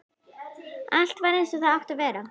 Allt var eins og það átti að vera.